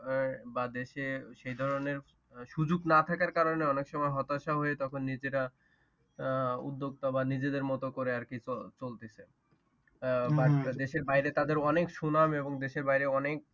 আহ বা দেশে সে ধরণের সুযোগ না থাকার কারণে অনেক সময় হতাশা হয়ে তখন নিজেরা আহ উদ্যোক্তা বা নিজেদের মতো করে আর কি চলতেছে। but দেশের বাহিরে তাদের সুনাম এবং দেশের বাহিরে অনেক।